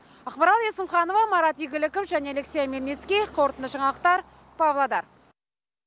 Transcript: ақмарал есімханова марат игіліков және алексей омельницкий қорытынды жаңалықтар павлодар